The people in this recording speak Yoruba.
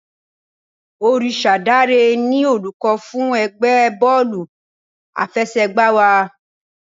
Orisadare ni olùkọ́ fún ẹgbẹ́ bọ́ọ̀lù àfẹsẹ̀gbá wa.